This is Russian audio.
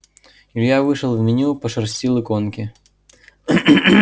илья вышел в меню пошерстил иконки